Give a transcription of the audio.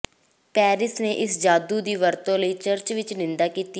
Paris ਨੇ ਇਸ ਜਾਦੂ ਦੀ ਵਰਤੋਂ ਲਈ ਚਰਚ ਵਿੱਚ ਨਿੰਦਾ ਕੀਤੀ